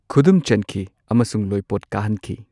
ꯈꯨꯗꯨꯝ ꯆꯟꯈꯤ ꯑꯃꯁꯨꯡ ꯂꯣꯏꯄꯣꯠ ꯀꯥꯍꯟꯈꯤ꯫